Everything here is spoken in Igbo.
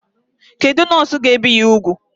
Kedụ nọọsụ ga ebi ya úgwù?